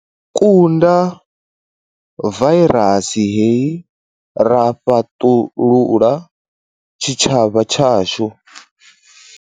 Kunda vairasi hei ra fhaṱulula tshitshavha tshashu.